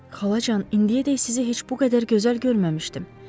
Xalacan, indiyədək sizi heç bu qədər gözəl görməmişdim.